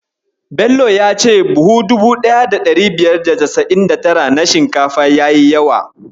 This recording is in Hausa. Bello ya ce buhu 1599 na shinkafa yayi yawa.